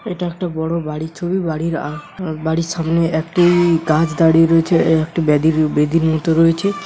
এটা একটা বড় বাড়ির ছবি বাড়ির বাড়ির সামনে একটি গাছ দাঁড়িয়ে রয়েছে একটা বেদীর মত রয়েছে।